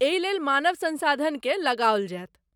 एहि लेल मानव संसाधनकेँ लगाओल जायत।